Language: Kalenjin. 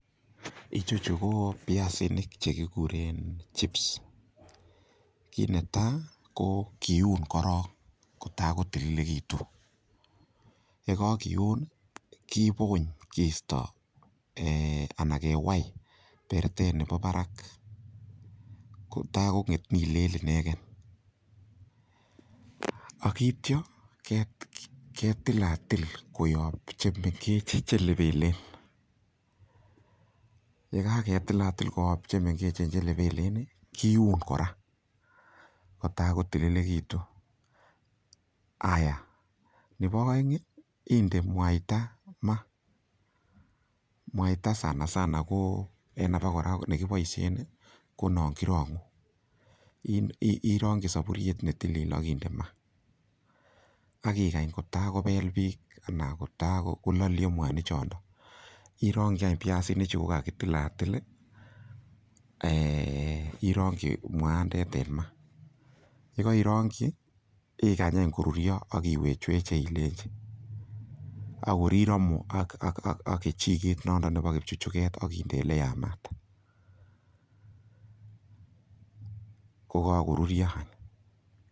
Icheju ko biasinik che kiguren chips kit netai ko kin korong kotago tililegitun ye kogiun kibony kiisto anan kewai bertet nebo barak kotagong'et nin lel inegen ak kityo ketilatil koyob chemengech che lepelen ye kagatilatil koyob chemengechen che lepelen, kiun kora kotago tililegitun. Haaya nebo oeng inde mwaita maa, mwait a sanasana ko en abakora ko nekiboishen ko non kirong'u, irongi soburiet ne tilil ak inde maa ak igany kotagobelbiik anan kotagololyo mwanik chondo, irongi any biasinik chu kogakitilatil irongi mwaandet en ma, ye koirongi igany any koruryo ak iwechweche ilenchi ak kor iromu ak kechiget nondon nebo kipchuchuget ak inde ole yamaat. Ko kagoruryo any.